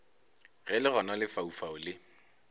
ge le gona lefaufau le